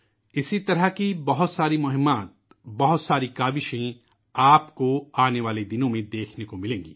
اسی طرح کی بہت ساری مہم ، بہت ساری کوششیں آپ کو آنے والے دنوں میں دیکھنے کو ملیں گی